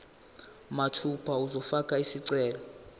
mathupha uzofaka isicelo